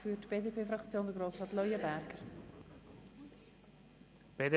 Zuerst hat Grossrat Leuenberger für die BDP das Wort.